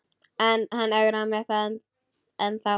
En hann ögrar mér ennþá.